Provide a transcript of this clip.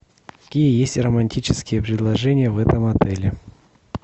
какие есть романтические предложения в этом отеле